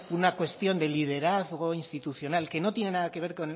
una cuestión de liderazgo institucional que no tiene nada que ver